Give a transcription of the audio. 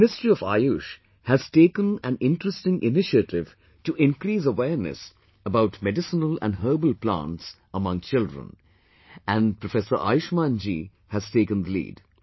the Ministry of Ayush has taken an interesting initiative to increase awareness about Medicinal and Herbal Plants among children and Professor Ayushman ji has taken the lead